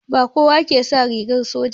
Ba kowa ke sa rigar soja ba